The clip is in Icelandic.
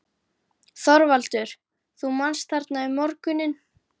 ÞORVALDUR: Þú manst: þarna um morguninn?